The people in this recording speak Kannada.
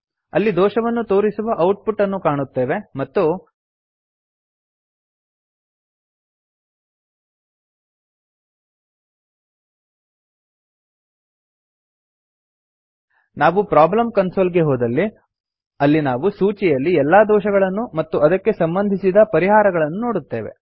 ನಾವಿಲ್ಲಿ ದೋಷವನ್ನು ತೋರಿಸುವ ಔಟ್ಪುಟ್ ಅನ್ನು ಕಾಣುತ್ತೇವೆ ಮತ್ತು ನಾವು ಪ್ರೊಬ್ಲಮ್ ಕನ್ಸೋಲ್ ಗೆ ಹೋದಲ್ಲಿ ಅಲ್ಲಿ ನಾವು ಸೂಚಿಯಲ್ಲಿ ಎಲ್ಲಾ ದೋಷಗಳನ್ನು ಮತ್ತು ಅದಕ್ಕೆ ಸಂಬಂಧಿಸಿದ ಪರಿಹಾರಗಳನ್ನು ನೋಡುತ್ತೇವೆ